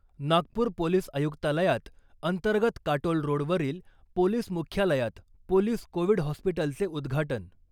Nagpur police आयुक्तालयात अंतर्गत Katol road वरील पोलिस मुख्यालयात पोलीस कोविड हॉस्पिटलचे उद्घाटन .